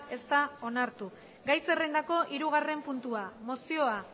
ez da onartu gai zerrendako hirugarrena puntua mozioa